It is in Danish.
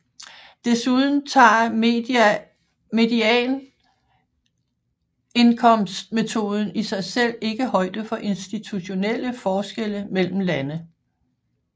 Desuden tager medianindkomstmetoden i sig selv ikke højde for institutionelle forskelle mellem lande